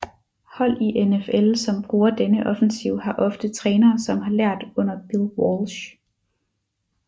Hold i NFL som bruger denne offensiv har ofte trænere som har lært under Bill Walsh